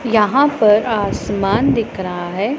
यहां पर आसमान दिख रहा हैं।